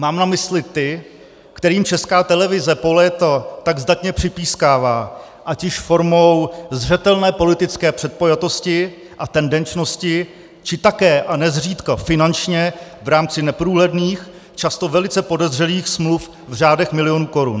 Mám na mysli ty, kterým Česká televize po léta tak zdatně připískává ať již formou zřetelné politické předpojatosti a tendenčnosti, či také a nezřídka finančně v rámci neprůhledných, často velice podezřelých smluv v řádech milionů korun.